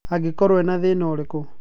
Agikorwo ena thina urĩkũ?